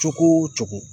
Cogo o cogo